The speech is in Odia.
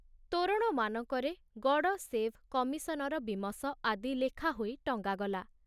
ତୋରଣମାନଙ୍କରେ ଗଡ଼ ସେଭ କମିଶନର ବୀମସ ଆଦି ଲେଖା ହୋଇ ଟଙ୍ଗାଗଲା।